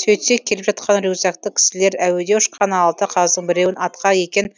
сөйтсек келіп жатқан рюкзакты кісілер әуеде ұшқан алты қаздың біреуін атқан екен